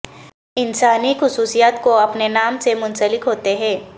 انسانی خصوصیات کو اپنے نام سے منسلک ہوتے ہیں